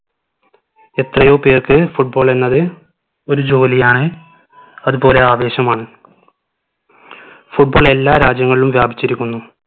എത്രയോ പേർക്ക് football എന്നത് ഒരു ജോലിയാണ് അത്പോലെ ആവേശവുമാണ് football എല്ലാ രാജ്യങ്ങളിലും വ്യാപിച്ചിരിക്കുന്നു